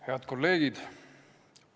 Head kolleegid!